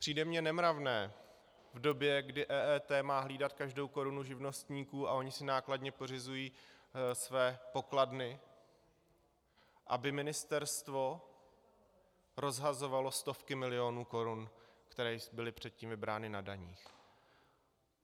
Přijde mně nemravné v době, kdy EET má hlídat každou korunu živnostníků a oni si nákladně pořizují své pokladny, aby ministerstvo rozhazovalo stovky milionů korun, které byly předtím vybrány na daních.